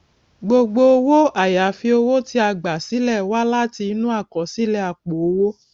gbogbo owó àyàfi owó tí a gbà sílẹ wá láti inú àkọsílẹ àpò owó